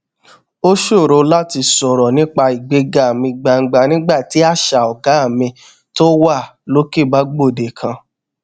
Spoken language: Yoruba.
ó ṣòro láti sọrọ nípa ìgbéga ní gbangba nígbà tí àṣà ọgá mi tó wà lókè bá gbòde kan